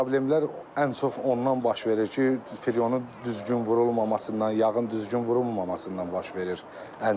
Problemlər ən çox ondan baş verir ki, firyonun düzgün vurulmamasından, yağın düzgün vurulmamasından baş verir.